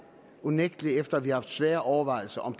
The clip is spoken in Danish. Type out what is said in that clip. unægtelig efter at vi har haft svære overvejelser om